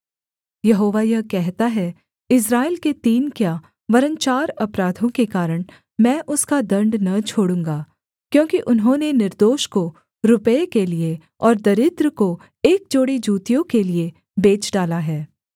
यहोवा यह कहता है इस्राएल के तीन क्या वरन् चार अपराधों के कारण मैं उसका दण्ड न छोड़ूँगा क्योंकि उन्होंने निर्दोष को रुपये के लिये और दरिद्र को एक जोड़ी जूतियों के लिये बेच डाला है